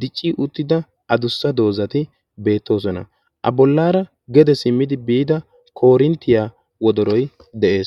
dicci uttida adussa doozzati beettoosona a bollaara gede simmidi biida korinttiyaa wodoroi de7ees